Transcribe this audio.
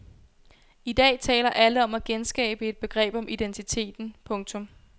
I dag taler alle om at genskabe et begreb om identiteten. punktum